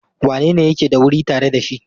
Wanene yake da wuri tare da shi?